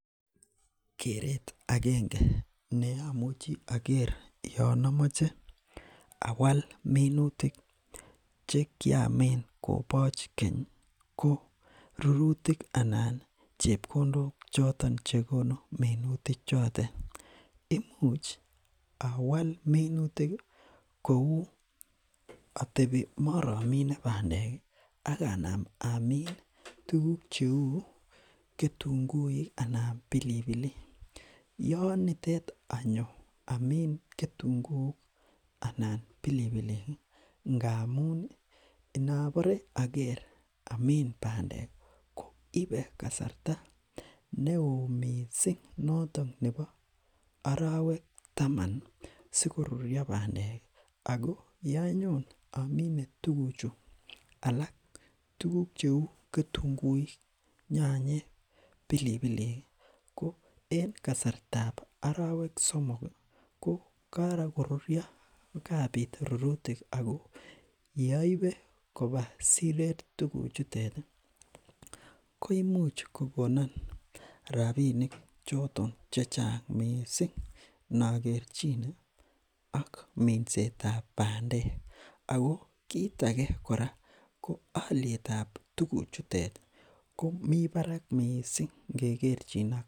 keret akenge neomuchi oker yoon amoche awal minutik chekiamin koboch kenyi ko rurutik anan chepkondok choton chekonu minuti chotet imuch awal minutiki kou atebi moromine bandeki akanam amin tuguk cheu ketunguik anan pilipilik yoon nitet anyo amin ketunguik anan pilipilik ngamuni inobore aker amiin bandeki koibe kasarta neoo mising noton nebo orowek taman sikorurio bandeki ako yonyon amine tuguchu alak tuguk cheu ketunguik nyanyek pilipiliiki ko en kasartab orowek somoki ko korurio kabit rurutik ako yeoibe koba siret tuguchuteti koimuch kokonon rapinik choton chechang mising nokerchine ak minsetab bandekako kit ake kora ko olietab tuguchuteti komi barak mising nge kerchin ak